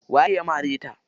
Waye ya mare ta?